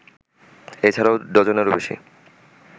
এ ছাড়াও ডজনেরও বেশি